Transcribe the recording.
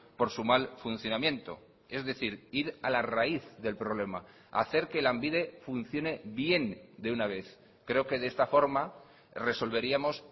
por su mal funcionamiento es decir ir a la raíz del problema hacer que lanbide funcione bien de una vez creo que de esta forma resolveríamos